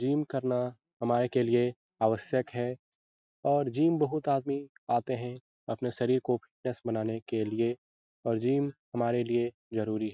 Gym करना हमारे के लिए आवश्यक है और जिम बहुत आदमी आते हैं अपने शरीर को फिटनेस बनाने के लिए और जिम हमारे लिए जरुरी है।